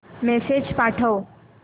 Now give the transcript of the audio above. message पाठव